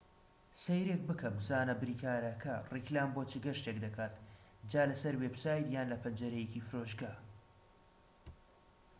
سەیرێک بکە بزانە بریکارەکە ڕیکلام بۆ چ گەشتێک دەکات جا لە سەر وێبسایت یان لە پەنجەرەیەکی فرۆشگا